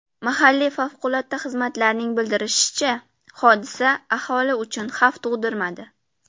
Mahalliy favqulodda xizmatlarning bildirishicha, hodisa aholi uchun xavf tug‘dirmadi.